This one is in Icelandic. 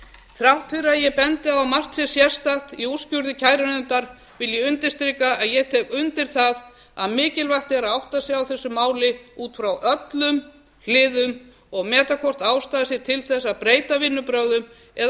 þrátt fyrir að ég bendi á margt sem sérstakt í úrskurði kærunefndar vil ég undirstrika að ég tek undir það að mikilvægt er að átta sig á þessu máli út frá öllum hliðum og meta hvort ástæða sé til þess að breyta vinnubrögðum eða